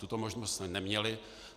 Tuto možnost jsme neměli.